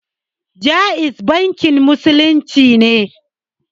Ja'iz bankin musulunci ne